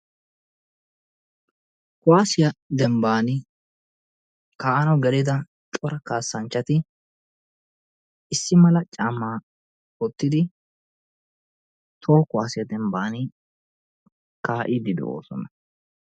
Kuwassiya dembbani ka'anawu gelida cora kaasanchchati issi mala caammaa wottidi toho Kuwassiya dembbani ka'iddi de'oosona.